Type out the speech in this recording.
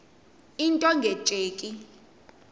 into nge tsheki